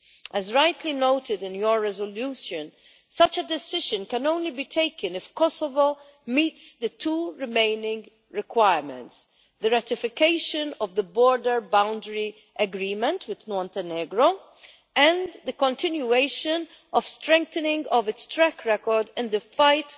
As rightly noted in your resolution, such a decision can only be taken if Kosovo meets the two remaining requirements the ratification of the border boundary agreement with Montenegro, and the continuation of the strengthening of its track record in the fight